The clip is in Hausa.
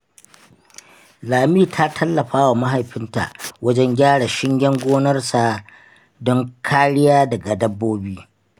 Lami ta tallafa wa mahaifinta wajen gyara shingen gonarsu don kariya daga dabbobi.